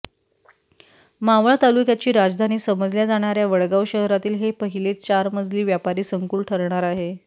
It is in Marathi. मावळ तालुक्याची राजधानी समजल्या जाणाऱ्या वडगाव शहरातील हे पहिलेच चार मजली व्यापारी संकुल ठरणार आहे